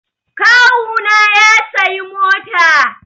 Kawu na ya sayi mota